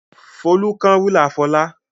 Folú kán rúlà Fọlá.